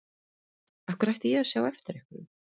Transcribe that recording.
Af hverju ætti ég að sjá eftir einhverju?